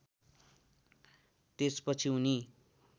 त्यस पछि उनी